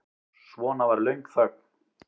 Svo var löng þögn.